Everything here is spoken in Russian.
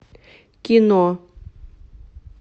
кино